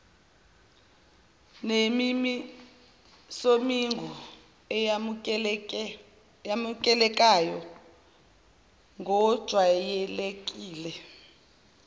nemimisomigomo eyamukeleka ngokwejwayelekile